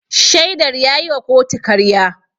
Shaidar ya yi wa kotu karya.